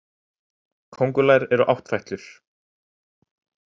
Kóngulær eru áttfætlur.